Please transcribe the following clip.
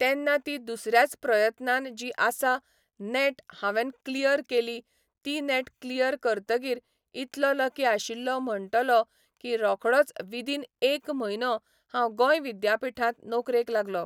तेन्ना ती दुसऱ्याच प्रयत्नान जी आसा नेट हांवेन क्लियर केली ती नेट क्लियर करतगीर इतलो लकी आशिल्लो म्हणटलो की रोखडोच विदीन एक म्हयनो हांव गोंय विद्यापीठांत नोकरेक लागलो